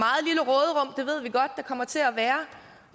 kommer til at være